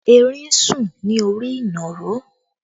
Erin ń sùn ní orí ìnàró